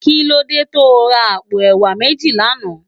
Kilódé tó rá àpó èwá méji làná?